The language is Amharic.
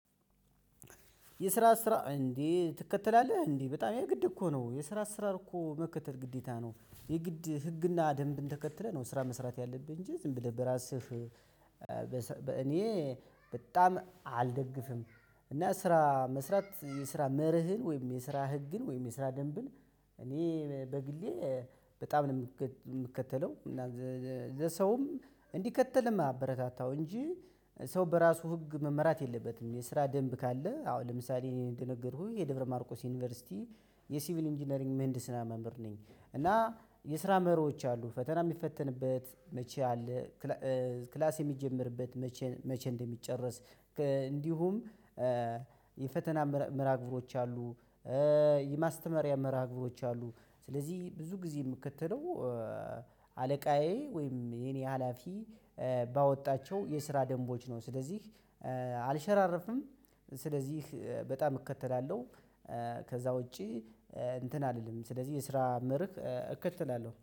የስራ አሰራር እንዴ ትከተላለህ እንዴ በጣም የግድ እኮ ነው የስራ አሰራር እኮ መከተል ግዴታ ነው የግድ ህግና ደንብን ተከትለህ ነው ስራ መስራት ያለብህ እንጂ ዝም ብለህ በራስህ በእኔ በጣም አልደግፍም። እና ስራ መስራት የስራ መርህን ወይም የስራ ህግን ወይም የስራ ደንብን እኔ በግሌ በጣም ነው የምከተለው እና ለሰውም እንዲከተል የማበረታታው እንጂ ሰው በራሱ ህግ መመራት የለበትም። የስራ ደንብ ካለ። አዎ ለምሳሌ እኔ እንደነገርኩኝ የደብረ ማርቆስ ዩኒቨርሲቲ የሲቪል ኢንጂነሪንግ ምህንድስና መምህር ነኝ። እና የስራ መርሆች አሉ ፈተና የሚፈተንበት መቼ አለ? ክላስ የሚጀመርበት መቼ መቼ እንደሚጨረስ። እንዲሁም የፈተና ምርሃ ግብሮች አሉ። የማስተማሪያ መርሃ ግብሮች አሉ። ስለዚህ ብዙ ጊዜ የምከተለው አለቃዬ ወይንም የኔ ሀላፊ ባወጣቸው የስራ ደንቦች ስለዚህ አልሸራርፍም። ስለዚህ በጣም እከተላለሁ። ከዛ ውጪ እንትን አልልም። ሲለዚህ የስራ መርህ እከተላለሁ